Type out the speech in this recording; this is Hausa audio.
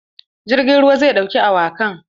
Jirgin ruwan zai ɗauki awakan.